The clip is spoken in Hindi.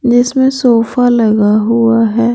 जिसमें सोफा लगा हुआ है।